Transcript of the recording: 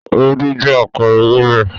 Ewédú jẹ́ àpẹẹrẹ ewébẹ̀.